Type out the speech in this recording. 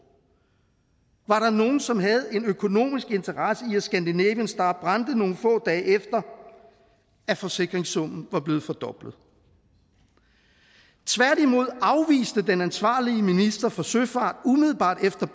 var der nogen som havde en økonomisk interesse i at scandinavian star brændte nogle få dage efter at forsikringssummen var blevet fordoblet tværtimod afviste den ansvarlige minister for søfart umiddelbart efter